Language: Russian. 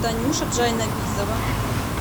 танюша джайнабизова